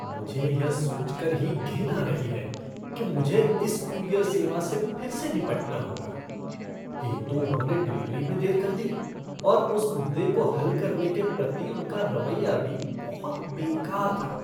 मुझे यह सोच कर ही घिन आ रही है कि मुझे इस कूरियर सेवा से फिर से निपटना होगा। एक तो उन्होंने डिलीवरी में देर कर दी और उस मुद्दे को हल करने के प्रति उनका रवैया भी बहुत बेकार था।